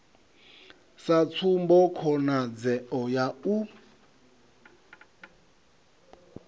sa tsumbo khonadzeo ya u